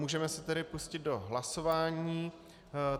Můžeme se tedy pustit do hlasování.